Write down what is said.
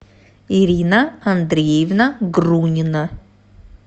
ирина андреевна грунина